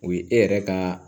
O ye e yɛrɛ ka